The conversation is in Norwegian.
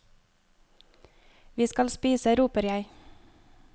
Vi skal spise, roper jeg.